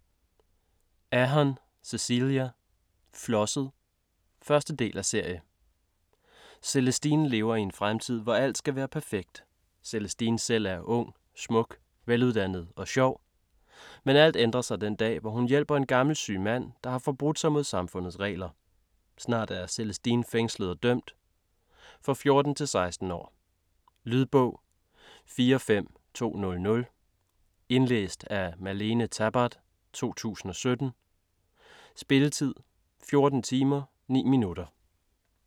Ahern, Cecelia: Flosset 1. del af serie. Celestine lever i en fremtid, hvor alt skal være perfekt. Celestine selv er ung, smuk, veluddannet og sjov. Men alt ændrer sig den dag, hvor hun hjælper en gammel syg mand, der har forbrudt sig mod samfundets regler. Snart er Celestine fængslet og dømt. For 14-16 år. Lydbog 45200 Indlæst af Malene Tabart, 2017. Spilletid: 14 timer, 9 minutter.